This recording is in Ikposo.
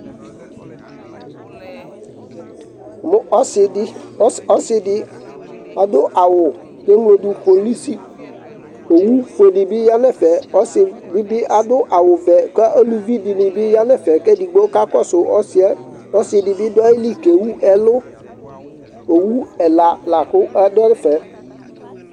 Mʋ ɔsɩ dɩ, ɔsɩ, ɔsɩ dɩ ɔdʋ awʋ kʋ eŋlo dʋ polisi Owufue dɩ bɩ ya nʋ ɛfɛ Ɔsɩ dɩ bɩ adʋ awʋvɛ kʋ eluvi dɩnɩ bɩ ya nʋ ɛfɛ kʋ edigbo kakɔsʋ ɔsɩ yɛ Ɔsɩ dɩ bɩ dʋ ayili kʋ ewu ɛlʋ Owu ɛla la kʋ adʋ ɛfɛ